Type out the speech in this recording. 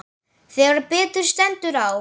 Þegar betur stendur á.